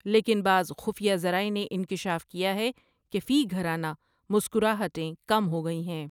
لیکن بعض خفیہ ذرائع نے انکشاف کیا ہے کہ فی گھرا نہ مسکرا ہٹیں کم ہو گئی ہیں ۔